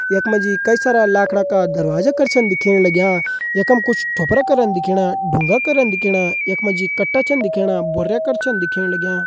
यख मा जी कई सारा लाखड़ा का दरवाजा कर छ दिखेण लग्यां यख मा कुछ थोपरा करं दिखेणा ढूंगा करं दिखेणा यख मा जी कट्टा छन दिखेणा भुर्रा छन दिखेण लग्यां।